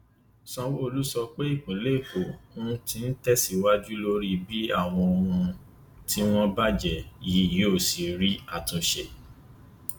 sanwóolu sọ pé ìpínlẹ èkó um ti tẹ síwájú lórí bí àwọn ohun um tí wọn bàjẹ yìí yóò ṣe rí àtúnṣe